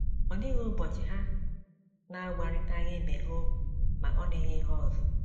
Ọ dịghị ụbọchị ha na - agwarịtaghị ibe ha okwu ma ọ dịghị ihe ọzọ.